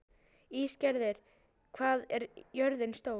Ísgerður, hvað er jörðin stór?